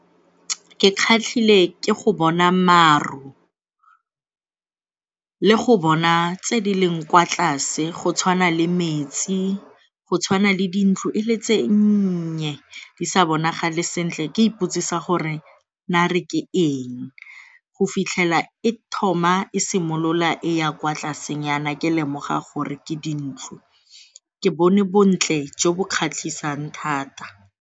Ke kgatlhile ke go bona maru le go bona tse di leng kwa tlase go tshwana le metsi, go tshwana le dintlo e le tse nnye di sa bonagale sentle ke ipotsisa gore nare ke eng go fitlhela e thoma e simolola e ya kwa tlasenyana ke lemoga gore ke dintlo. Ke bone bontle jo bo kgatlhisang thata.